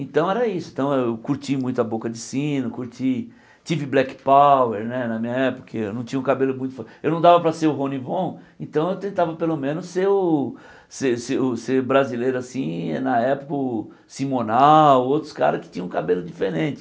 Então era isso, então eu curti muito a Boca de Sino, curti... Tive Black Power na minha época, eu não tinha o cabelo muito... Eu não dava para ser o Ronnie Von, então eu tentava pelo menos ser o ser ser brasileiro assim, na época o Simonal, outros caras que tinham o cabelo diferente.